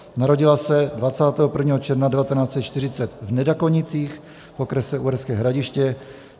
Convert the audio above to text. Narodila se 21. června 1940 v Nedakonicích v okrese Uherské Hradiště.